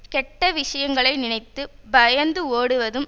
கெட்ட விஷயங்களை நினைத்து பயந்து ஓடுவதும்